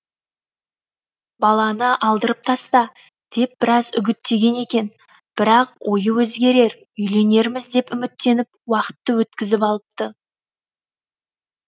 баланы алдырып таста деп біраз үгіттеген екен бірақ ойы өзгерер үйленерміз деп үміттеніп уақытты өткізіп алыпты